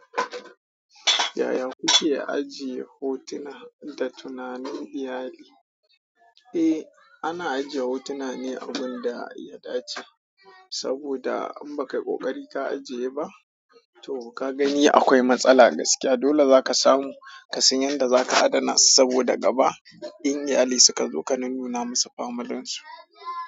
Yaya kuke ajiye hotuna da tunanin iyali? Eh, ana ajiye hotuna ne a gun da ya dace, saboda in baka yi ƙoƙari ka ajiye ba to ka gani akwai matsala gaskiya. Dole zaka samu ka san yadda zaka adana su saboda gaba in iyali suka zo ka nunnuna masu familinsu.